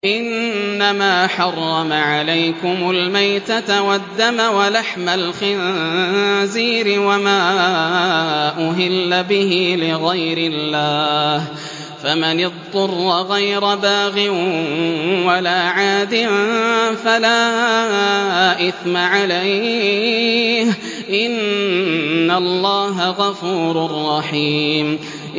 إِنَّمَا حَرَّمَ عَلَيْكُمُ الْمَيْتَةَ وَالدَّمَ وَلَحْمَ الْخِنزِيرِ وَمَا أُهِلَّ بِهِ لِغَيْرِ اللَّهِ ۖ فَمَنِ اضْطُرَّ غَيْرَ بَاغٍ وَلَا عَادٍ فَلَا إِثْمَ عَلَيْهِ ۚ إِنَّ اللَّهَ غَفُورٌ رَّحِيمٌ